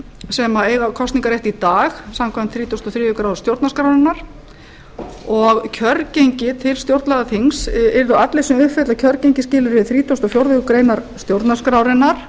sem eiga kosningarrétt í dag samkvæmt þrítugustu og þriðju grein stjórnarskrárinnar og kjörgengi til stjórnlagaþings yrðu allir sem uppfylla kjörgengisskilyrði þrítugasta og fjórðu grein stjórnarskrárinnar